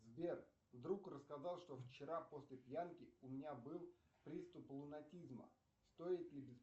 сбер друг рассказал что вчера после пьянки у меня был приступ лунатизма стоит ли